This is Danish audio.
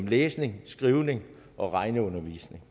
læsning skrivning og regning